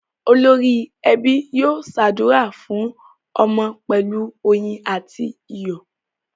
Olórí ẹbí yóò ṣàdúrà fún ọmọ pẹ̀lú oyin àti iyọ̀.